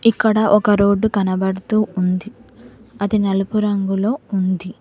ఇక్కడ ఒక రోడ్డు కనబడుతూ ఉంది అది నలుపు రంగులో ఉంది.